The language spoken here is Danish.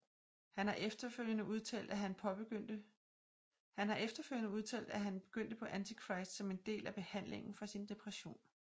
Han har efterfølgende udtalt at han begyndte på Antichrist som en del af behandlingen for sin depression